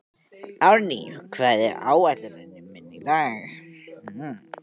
Árný, hvað er á áætluninni minni í dag?